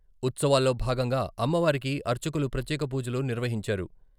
ఉత్సవాల్లో భాగంగా అమ్మవారికి అర్చకులు ప్రత్యేక పూజలు నిర్వహించారు.